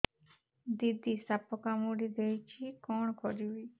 ଦିଦି ସାପ କାମୁଡି ଦେଇଛି କଣ କରିବି